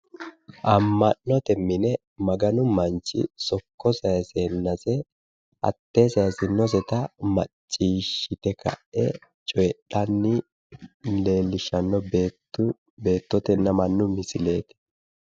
Amma'note mine maganu manchi sokko sayiseennase maccishshite ka'e cotidhanni leellishshanno beettu, beettotenna mannu misileeti.